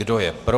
Kdo je pro?